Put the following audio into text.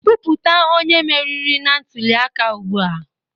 Kwupụta onye meriri na ntuli aka ugbu a